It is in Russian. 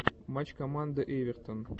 матч команда эвертон